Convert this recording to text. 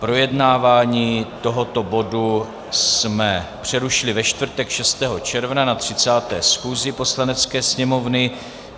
Projednávání tohoto bodu jsme přerušili ve čtvrtek 6. června na 30. schůzi Poslanecké sněmovny.